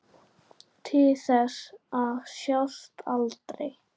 Til þess að sjást aldrei.